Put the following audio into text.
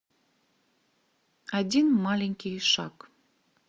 один маленький ишак